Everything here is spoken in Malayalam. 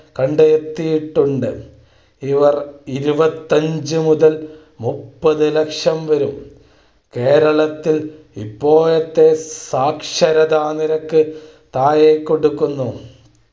കണ്ടെത്തിയിട്ടുണ്ട്. ഇവർ ഇരുപത്തി അഞ്ചു മുതൽ മുപ്പതുലക്ഷം വരും. കേരളം ത്തിൽ ഇപ്പോഴത്തെ സാക്ഷരതാനിരക്ക് താഴെക്കൊടുക്കുന്നു.